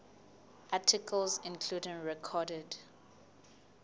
articles including recorded